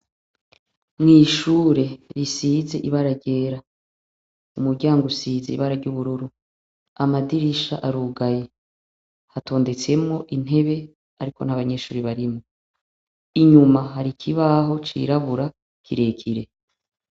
Mw'ishure risize ibara ryera umuryango usize ibara ry'ubururu amadirisha ariugaye hatondetsemwo intebe, ariko nt'abanyeshuri barimo inyuma hari ikibaho cirabura kirekire.